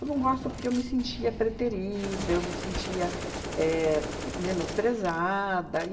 Eu não gosto porque eu me sentia preterida, eu me sentia éh menosprezada.